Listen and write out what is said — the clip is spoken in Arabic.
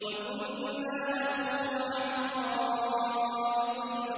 وَكُنَّا نَخُوضُ مَعَ الْخَائِضِينَ